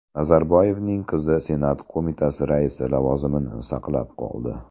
Nazarboyevning qizi Senat qo‘mitasi raisi lavozimini saqlab qoldi.